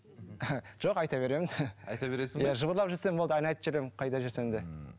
жоқ айта беремін айта бересің бе жыбырлап жүрсем болды ән айтып жүремін қайда жүрсем де ммм